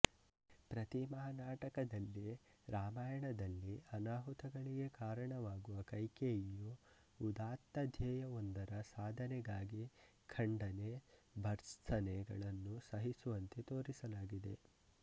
ಪ್ರತಿಮಾನಾಟಕದಲ್ಲಿ ರಾಮಾಯಣದಲ್ಲಿ ಅನಾಹುತಗಳಿಗೆ ಕಾರಣವಾಗುವ ಕೈಕೇಯಿಯು ಉದಾತ್ತಧ್ಯೇಯವೊಂದರ ಸಾಧನೆಗಾಗಿ ಖಂಡನೆಭರ್ತ್ಸನೆಗಳನ್ನು ಸಹಿಸುವಂತೆ ತೋರಿಸಲಾಗಿದೆ